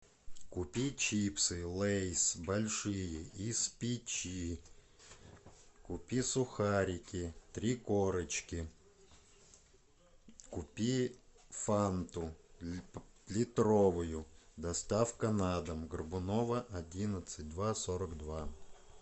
купи чипсы лейс большие из печи купи сухарики три корочки купи фанту литровую доставка на дом горбунова одиннадцать два сорок два